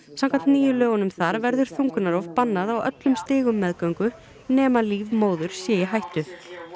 samkvæmt nýjum lögum þar verður þungunarrof bannað á öllum stigum meðgöngu nema líf móður sé í hættu